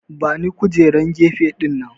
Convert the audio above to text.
Bani kujerar gefe dinnan!